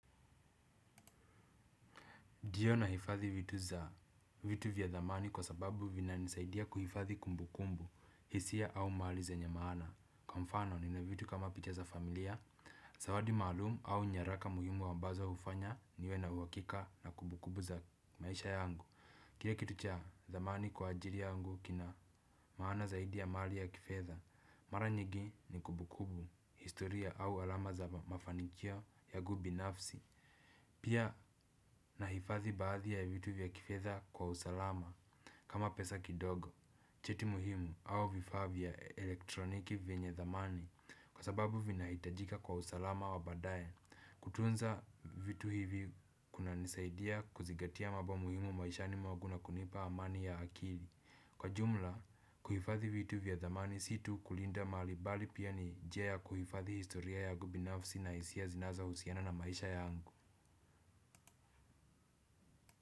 Ndiyo nahifadhi vitu vya thamani kwa sababu vinanisaidia kuhifadhi kumbukumbu, hisia au mali zenye maana. Kwa mfano nina vitu kama picha za familia, zawadi maalumu au nyaraka muhimu ambazo hufanya niwe na uhakika na kumbukubu za maisha yangu. Kile kitu cha thamani kwa ajili yangu kina maana zaidi ya mali ya kifedha, mara nyingi ni kumbukumbu, historia au alama za mafanikio yangu binafsi. Pia nahifadhi baadhi ya vitu vya kifedha kwa usalama kama pesa kidogo, cheti muhimu au vifaa vya elektroniki vyenye thamani kwa sababu vinahitajika kwa usalama wa baadaye. Kutunza vitu hivi kunanisaidia kuzingatia mambo muhimu maishani mwangu na kunipa amani ya akili. Kwa jumla, kuhifadhi vitu vya thamani si tu kulinda mali bali pia ni njia ya kuhifadhi historia yangu binafsi na hisia zinazohusiana na maisha yangu.